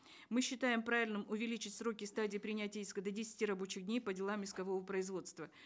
мы считаем правильным увеличить сроки стадии принятия иска до десяти рабочих дней по делам искового производства